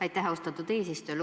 Aitäh, austatud eesistuja!